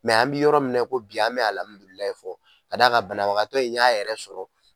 an bɛ yɔrɔ mina i ko bi an bɛ alhamidulilaye fɔ, ka da kan banabagatɔ in y'a yɛrɛ sɔrɔ.